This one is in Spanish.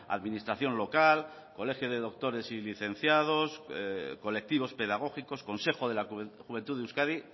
administración local colegio de doctores y licenciados colectivos pedagógicos consejo de la juventud de euskadi